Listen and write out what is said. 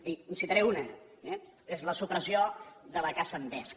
i en citaré una eh que és la supressió de la caça amb vesc